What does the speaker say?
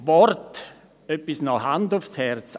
Noch etwas zu diesem Wort, Hand aufs Herz: